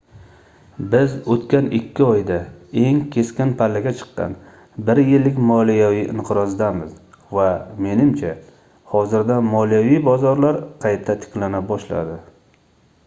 biz oʻtgan ikki oyda eng keskin pallaga chiqqan bir yillik moliyaviy inqirozdamiz va menimcha hozirda moliyaviy bozorlar qayta tiklana boshladi